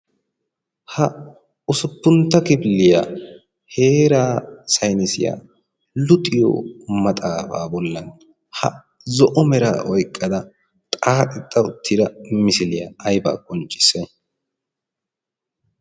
Ha ussuppuntta kifililya heeraa saynnissiya luxiyo maxaafa bolla ha zo'o mera oyqqida xaaxetta uttida misiliya aybba qonccissay?